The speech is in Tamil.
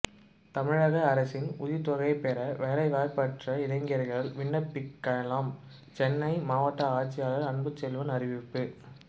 தமிழக அரசின் உதவித்தொகை பெற வேலைவாய்ப்பற்ற இளைஞர்கள் விண்ணப்பிக்கலாம் சென்னை மாவட்ட ஆட்சியர் அன்புச்செல்வன் அறிவிப்பு